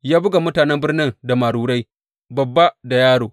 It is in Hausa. Ya buga mutanen birnin da marurai, babba da yaro.